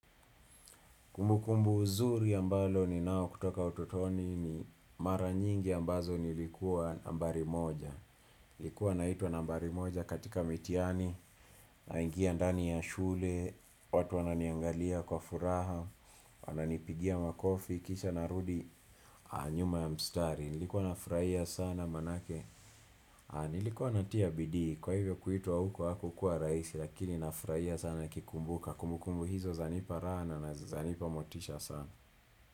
Kumbukumbu nzuri ya ambalo ni nao kutoka ututoni ni mara nyingi ambazo nilikuwa nambari moja. Nilikuwa naitwa nambari moja katika mitihani, naingia ndani ya shule, watu wananiangalia kwa furaha, wananipigia makofi, kisha narudi, nyuma ya mstari. Nilikuwa nafurahia sana maanake. Nilikuwa natia bidii, kwa hivyo kuitwa huko haku kuwa raisi, lakini nafurahia sana nikikumbuka. Kumbukumbu hizo zanipa raha na zanipa motisha sana.